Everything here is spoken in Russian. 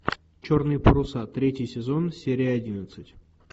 черные паруса третий сезон серия одиннадцать